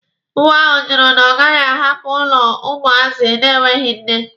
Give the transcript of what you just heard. Nwa ahụ jụrụ na ọ gaghị ahapụ ụlọ ụmụazị na-enweghi nne.